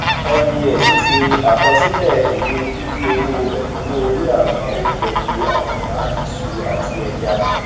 nbs ṣe àkọsílẹ èle dìdí owó ekunwo orí àwọn oúnjẹ bí anamọ iṣu àti ẹja